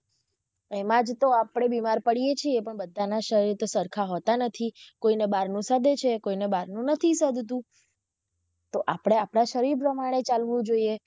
એમા જ તો આપડે બીમાર પાડીયે છીએ પણ બધાના શરીર તો સરખા હોતા નથી કોઈ ને બહારનું સદે છે કોઈ ને બહાર નું નથી સદતુ તો આપડે આપડા શરીર પ્રમાણે ચાલવું જોઈએ.